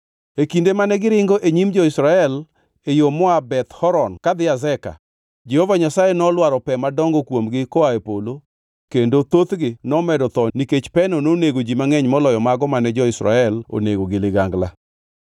E kinde mane giringo e nyim jo-Israel e yo moa Beth Horon kadhi Azeka, Jehova Nyasaye nolwaro pe madongo kuomgi koa e polo kendo thothgi nomedo tho nikech peno nonego ji mangʼeny moloyo mago mane jo-Israel onego gi ligangla.